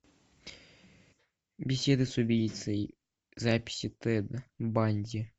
беседы с убийцей записи тед банди